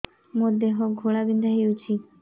ମୋ ଦେହ ଘୋଳାବିନ୍ଧା ହେଉଛି